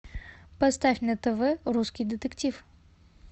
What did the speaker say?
поставь на тв русский детектив